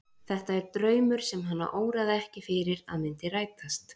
Þetta er draumur sem hana óraði ekki fyrir að myndi rætast.